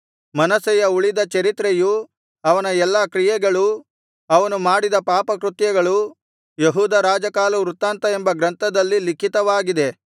ಮನಸ್ಸೆಯ ಉಳಿದ ಚರಿತ್ರೆಯೂ ಅವನ ಎಲ್ಲಾ ಕ್ರಿಯೆಗಳೂ ಅವನು ಮಾಡಿದ ಪಾಪಕೃತ್ಯಗಳೂ ಯೆಹೂದ ರಾಜಕಾಲವೃತ್ತಾಂತ ಎಂಬ ಗ್ರಂಥದಲ್ಲಿ ಲಿಖಿತವಾಗಿದೆ